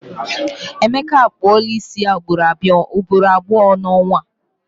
Emeka a kpụọla isi ya ugboro abụọ n'ọnwa a.